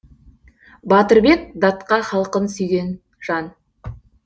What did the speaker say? батырбек датқа халқын сүйген жан